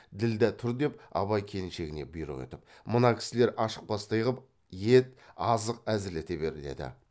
ділдә тұр деп абай келіншегіне бұйрық етіп мына кісілер ашықпастай қып ет азық әзірлете бер еді